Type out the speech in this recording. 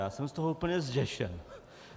Já jsem z toho úplně zděšen.